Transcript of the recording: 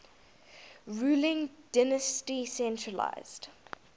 ruling dynasty centralised